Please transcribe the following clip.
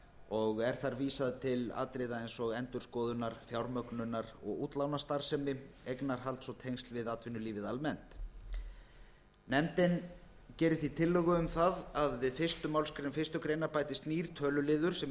og er það vísað til atriða eins og endurskoðunar fjármögnunar og útlánastarfsemi eignarhalds og tengsl við atvinnulífið almennt nefndin gerir því tillögu um að við fyrstu málsgrein fyrstu grein bætist nýr töluliður sem